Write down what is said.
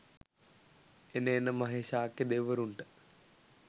එන එන මහේශාක්‍යය දෙවිවරුන්ට